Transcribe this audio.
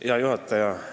Hea juhataja!